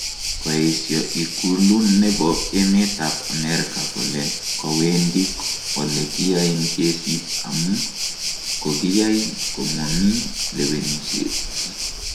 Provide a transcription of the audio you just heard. Koesyo ikulu nebo emet ab America kole kowendi ole kiyoen kesit amun kogiyay Komomii lewenisiet.